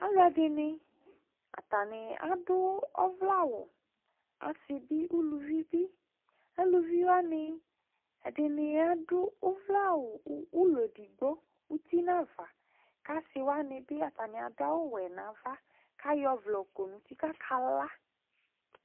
alɔadini atani adụ ɔvle ạwụ ɔsiɓi ũluviḅi ạɖu ɔ vléawu aluviwani ạdu ɔvle ạwụ ọụlon ẹɖigbo asiwanibi aduawu wénava ɑƴɔ ɔvlé ƙɔnuṭi kakala